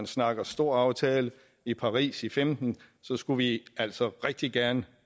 snakke storaftale i paris i femten så skulle vi altså rigtig gerne